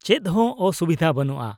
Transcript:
ᱼᱪᱮᱫ ᱦᱚᱸ ᱚᱥᱩᱵᱤᱫᱷᱟ ᱵᱟᱹᱱᱩᱜᱼᱟ ᱾